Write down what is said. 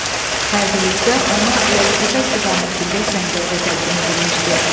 Hərbi rütbə ona Lələtəpə istiqamətində səngərdə təqdim edilmişdi.